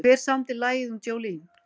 Hver samdi lagið um Jolene?